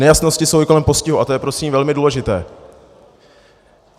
Nejasnosti jsou i kolem postihu a to je prosím velmi důležité.